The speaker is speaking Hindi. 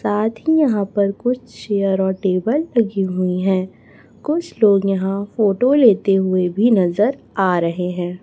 साथ ही यहां पर कुछ चेयर ओर टेबल लगी हुई है कुछ लोग यहां फोटा लेते हुए भी नजर आ रहे है।